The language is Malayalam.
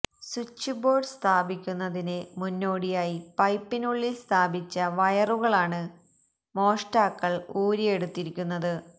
സ്വിച്ച് ബോര്ഡ് സ്ഥാപിക്കുന്നതിന് മുന്നോടിയായി പൈപ്പിനുള്ളില് സ്ഥാപിച്ച വയറുകളാണ് മോഷ്ടാക്കള് ഊരിയെടുത്തിരിക്കുന്നത്